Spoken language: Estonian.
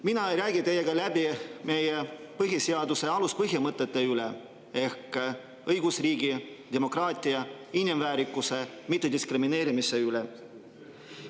Mina ei räägi teiega läbi meie põhiseaduse aluspõhimõtete üle ehk õigusriigi, demokraatia, inimväärikuse, mittediskrimineerimise üle.